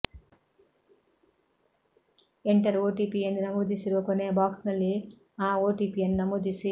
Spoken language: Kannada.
ಎಂಟರ್ ಓಟಿಪಿ ಎಂದು ನಮೂದಿಸಿರುವ ಕೊನೆಯ ಬಾಕ್ಸ್ನಲ್ಲಿ ಆ ಓಟಿಪಿಯನ್ನು ನಮೂದಿಸಿ